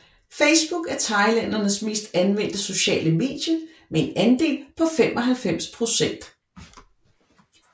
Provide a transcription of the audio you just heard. Facebook er thailændernes mest anvendte sociale medie med en andel på 95 procent